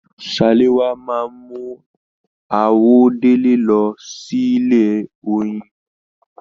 Salewa máa n àwọ̀délẹ̀ lọ sílé oyin.